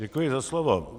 Děkuji za slovo.